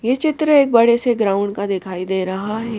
ये चित्र एक बड़ेसे ग्राउंड का दिखाई दे रहा है।